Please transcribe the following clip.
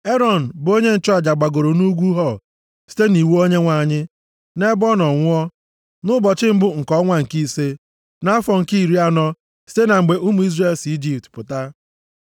Erọn, bụ onye nchụaja gbagoro nʼugwu Hor site nʼiwu Onyenwe anyị. Nʼebe ọ nọ nwụọ, nʼụbọchị mbụ nke ọnwa nke ise, nʼafọ nke iri anọ site na mgbe ụmụ Izrel si Ijipt pụta.